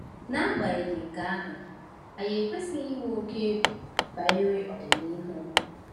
N’agbanyeghị nke ahụ, anyị ekwesịghị inwe oke egwu banyere ọdịnihu.